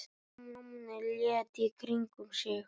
Stjáni leit í kringum sig.